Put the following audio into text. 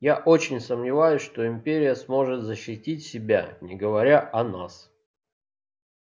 я очень сомневаюсь что империя сможет защитить себя не говоря о нас